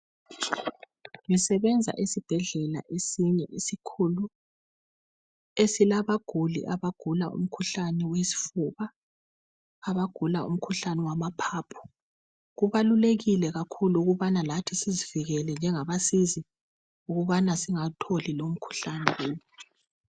Ngisebenza esibhedlela esinye esikhulu esilabaguli abagula umkhuhlane wesifuba, abagula umkhuhlane wamaphaphu, kubalulekile kakhulu ukubana lathi sizivikele njengabasizi ukubana singawutholi lomkhuhlane.